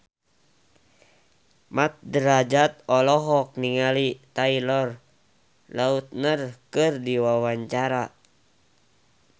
Mat Drajat olohok ningali Taylor Lautner keur diwawancara